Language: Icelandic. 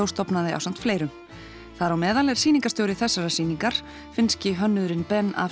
stofnaði ásamt fleirum þar á meðal er sýningarstjóri þessarar sýningar finnski hönnuðurinn Ben af